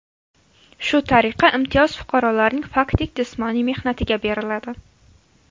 Shu tariqa, imtiyoz fuqarolarning faktik jismoniy mehnatiga beriladi.